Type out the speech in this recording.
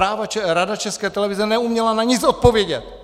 Rada České televize neuměla na nic odpovědět!